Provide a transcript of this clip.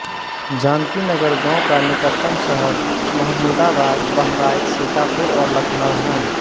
जानकीनगर गाँव का निकटतम शहर महमुदाबाद बहराइच सीतापुर और लखनऊ हैं